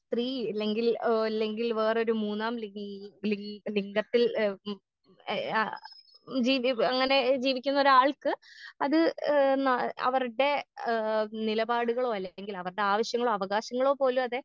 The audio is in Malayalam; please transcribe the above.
സ്ത്രീ ഇല്ലെങ്കിൽ ഏ ഇല്ലെങ്കിൽ വേറൊരു മൂന്നാം ലി ലി ലിംഗത്തിൽ ഏ ഉം ഏ ആ അങ്ങനെ ജീവിക്കുന്നൊരാൾക്ക് അത് ഏ അവര്ടെ ഏ നിലപാടുകളോ അല്ലെങ്കിലവര്ടെ ആവശ്യങ്ങളോ അവകാശങ്ങളോ പോലു അതെ.